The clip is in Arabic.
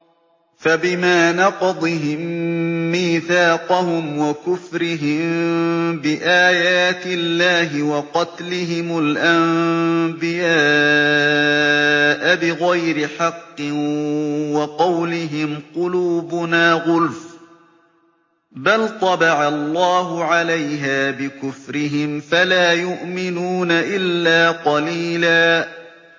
فَبِمَا نَقْضِهِم مِّيثَاقَهُمْ وَكُفْرِهِم بِآيَاتِ اللَّهِ وَقَتْلِهِمُ الْأَنبِيَاءَ بِغَيْرِ حَقٍّ وَقَوْلِهِمْ قُلُوبُنَا غُلْفٌ ۚ بَلْ طَبَعَ اللَّهُ عَلَيْهَا بِكُفْرِهِمْ فَلَا يُؤْمِنُونَ إِلَّا قَلِيلًا